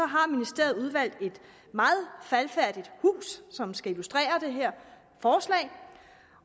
har ministeriet udvalgt et meget faldefærdigt hus som skal illustrere det her forslag